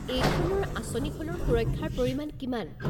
এইখনৰ আঁচনিখনৰ সুৰক্ষাৰ পৰিমাণ কিমান?